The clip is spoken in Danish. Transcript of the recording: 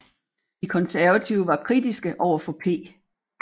De Konservative var kritiske overfor P